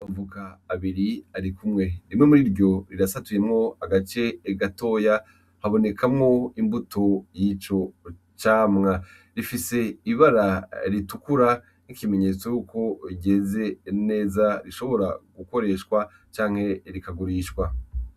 Amavoka abiri ari kumwe, rimwe mur'iryo rirasatuyemwo agace gatoya habonekamwo imbuto y'ico camwa, rifise ibara ritukura nk'ikimenyetso yuko ryeze neza rishobora gukoreshwa canke rikagurishwa.